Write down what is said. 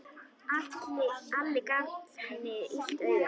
Alli gaf henni illt auga.